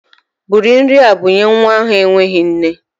Bụrụ nri a bunye nwa ahụ enweghị nne!